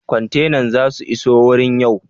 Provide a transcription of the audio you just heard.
Kwantenan za su iso wurin yau?